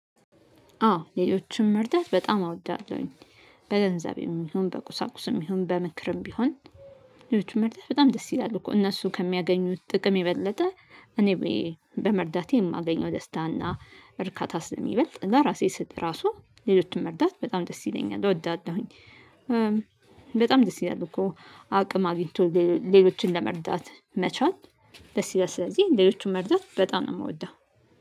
አዎ ሌሎችን መርዳት በጣም አወዳለሁኝ። በገንዘቤም ይሁን በቁሳቁስም ይሁን በምክርም ቢሆን። ሌሎች መርዳት በጣም ደስ ይላሉ እኮ እነሱ ከሚያገኙት ጥቅም የበለጠ እኔ በመርዳቴ የማገኘው ደስታና እርካታ ስለሚበልጥ ለራሴ ስል ራሱ ሌሎችን መርዳት በጣም ደስ ይለኛል እወዳለሁኝ። በጣም ደስ ይለኛል እኮ አቅም አግኝቶ ሌሎችን ለመርዳት መቻል። ደስ ይላል ስለዚህ ሌሎቹን መርዳት በጣም ነው የምወደው።